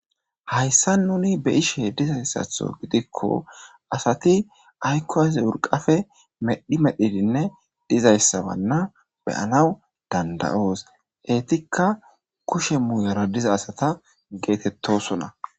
Hayissan nuni beyizayissaththo gidikko asati urqafe ayikko medhi medhi ekidinne etikka kushe moyara diza asata getetossona